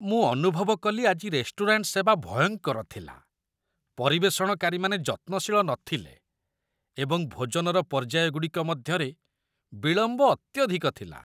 ମୁଁ ଅନୁଭବ କଲି ଆଜି ରେଷ୍ଟୁରାଣ୍ଟ ସେବା ଭୟଙ୍କର ଥିଲା। ପରିବେଷଣକାରୀମାନେ ଯତ୍ନଶୀଳ ନଥିଲେ ଏବଂ ଭୋଜନର ପର୍ଯ୍ୟାୟ ଗୁଡ଼ିକ ମଧ୍ୟରେ ବିଳମ୍ବ ଅତ୍ୟଧିକ ଥିଲା